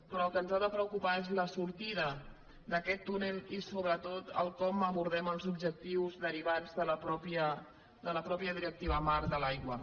però el que ens ha de preocupar és la sortida d’aquest túnel i sobretot com abordem els objectius derivats de la mateixa directiva marc de l’aigua